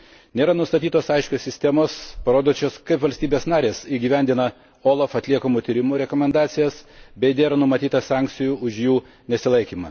Nėra nustatytos aiškios sistemos, parodančios, kaip valstybės narės įgyvendina OLAF atliekamų tyrimų rekomendacijas ir nėra numatyta sankcijų už jų nesilaikymą.